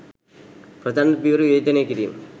ප්‍රචණ්ඩ පියවර විවේචනය කිරීම